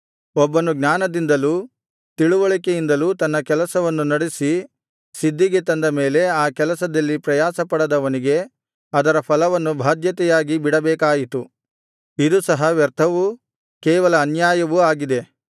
ಒಬ್ಬನು ಜ್ಞಾನದಿಂದಲೂ ತಿಳಿವಳಿಕೆಯಿಂದಲೂ ತನ್ನ ಕೆಲಸವನ್ನು ನಡೆಸಿ ಸಿದ್ಧಿಗೆ ತಂದ ಮೇಲೆ ಆ ಕೆಲಸದಲ್ಲಿ ಪ್ರಯಾಸಪಡದವನಿಗೆ ಅದರ ಫಲವನ್ನು ಭಾಧ್ಯತೆಯಾಗಿ ಬಿಡಬೇಕಾಯಿತು ಇದು ಸಹ ವ್ಯರ್ಥವೂ ಕೇವಲ ಅನ್ಯಾಯವೂ ಆಗಿದೆ